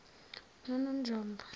nononjombo